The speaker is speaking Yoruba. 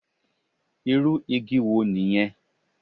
Irú igi wo nìyẹn.